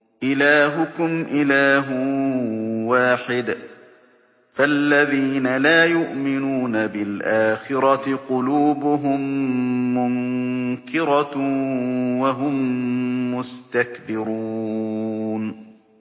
إِلَٰهُكُمْ إِلَٰهٌ وَاحِدٌ ۚ فَالَّذِينَ لَا يُؤْمِنُونَ بِالْآخِرَةِ قُلُوبُهُم مُّنكِرَةٌ وَهُم مُّسْتَكْبِرُونَ